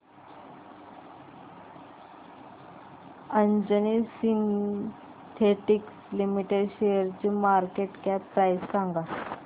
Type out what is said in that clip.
Anjani synthetics limited शेअरची market cap price सांगा